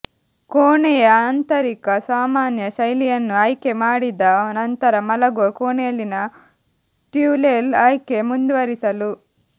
ಕೋಣೆಯ ಆಂತರಿಕ ಸಾಮಾನ್ಯ ಶೈಲಿಯನ್ನು ಆಯ್ಕೆಮಾಡಿದ ನಂತರ ಮಲಗುವ ಕೋಣೆಯಲ್ಲಿನ ಟ್ಯುಲೆಲ್ ಆಯ್ಕೆ ಮುಂದುವರಿಸಲು